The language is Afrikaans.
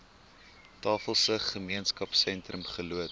tafelsig gemeenskapsentrum geloods